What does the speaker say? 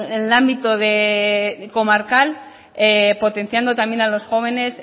el ámbito comarcal potenciando también a los jóvenes